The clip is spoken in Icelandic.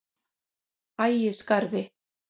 Ægisgarði